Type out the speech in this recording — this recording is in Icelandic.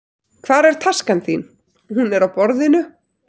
Hvar er taskan þín? Hún er á borðinu.